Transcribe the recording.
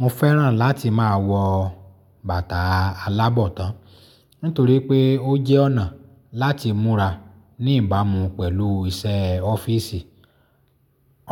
Mo fẹ́ràn láti máa wọ bàtà alábọ̀tan nítorí pé ó jẹ́ ọ̀nà láti múra ní ìbámu pẹ̀lú iṣẹ́ ọ́fíìsì.